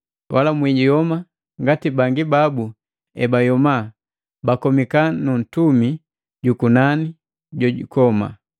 Wala mwiyoma ngati bangi babu ebayoma, bakomika nu Ntumi jukunani Jojukoma.